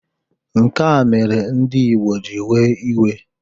Nka mere ndị Igbo ji ewe iwe